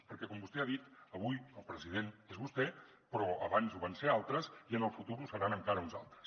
perquè com vostè ha dit avui el president és vostè però abans ho van ser altres i en el futur ho seran encara uns altres